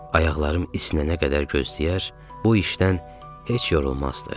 Ayaqlarım isinənə qədər gözləyər, bu işdən heç yorulmazdı.